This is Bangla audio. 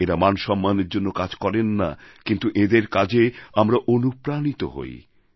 এঁরা মান সম্মানের জন্য কাজ করেন না কিন্তু এঁদের কাজে আমরা অনুপ্রাণিত হই